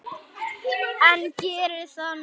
En geri það nú.